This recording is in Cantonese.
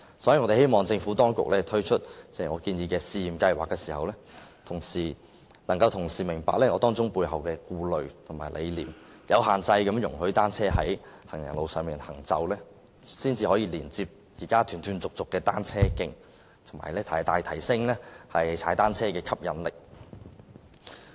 所以，我們希望政府當局推出我建議的試驗計劃時，能夠同時明白當中的顧慮及理念，容許單車有限制地在行人路上行走，連接現時斷斷續續的單車徑，從而大大提升踏單車的吸引力。